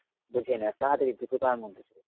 বোঝেই না তাড়াতাড়ি দ্রুততার মধ্যে চলে।